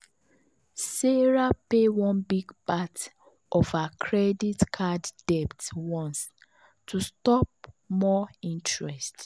sarah pay one big part of her credit card debt once to stop more interest.